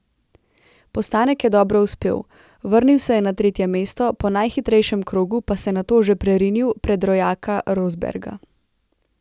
Postanek je dobro uspel, vrnil se je na tretje mesto, po najhitrejšem krogu pa se nato že prerinil pred rojaka Rosberga.